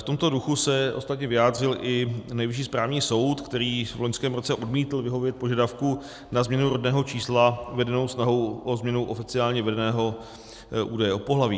V tomto duchu se ostatně vyjádřil i Nejvyšší správní soud, který v loňském roce odmítl vyhovět požadavku na změnu rodného čísla vedenou snahou o změnu oficiálně vedeného údaje o pohlaví.